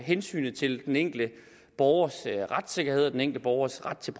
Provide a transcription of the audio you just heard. hensynet til den enkelte borgers retssikkerhed og den enkelte borgers ret til